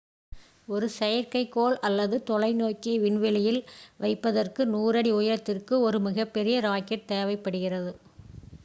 ஒரு செயற்கைக்கோள் அல்லது தொலைநோக்கியை விண்வெளியில் வைப்பதற்கு 100 அடி உயரத்திற்கு ஒரு மிகப்பெரிய ராக்கெட் தேவைப்படுகிறது